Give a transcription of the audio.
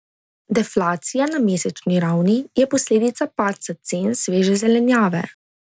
Deflacija na mesečni ravni je posledica padca cen sveže zelenjave.